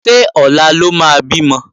Ṣé ọ̀la ló máa bímọ?